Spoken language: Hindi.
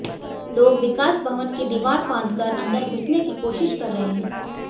लोग विकास भवन की दीवार फांदकर अंदर घुसने की कोशिश कर रहे हैं